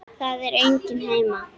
Það er enginn heima.